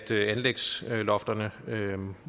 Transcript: til at anlægslofterne